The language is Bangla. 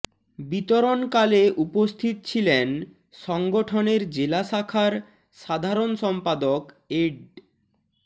বিতরণ কালে উপস্থিত ছিলেন সংগঠনের জেলা শাখার সাধারণ সম্পাদক এড